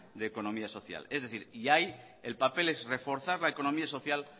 de economía social es decir ahí el papel es reforzar la economía social